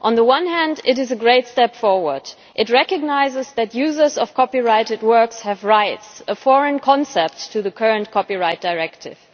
On the one hand, it is a great step forward. It recognises that users of copyrighted works have rights a foreign concept to the current Copyright Directive.